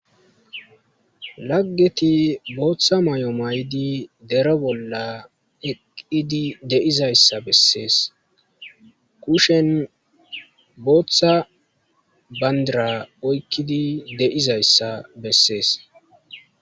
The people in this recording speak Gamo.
Haggeti booththa may7o may7di dero bolla eqqidi deizayssa bessees kushen booththa bandira oykkidi de7izayssa bessees.